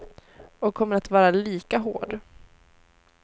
Och kommer att vara lika hård.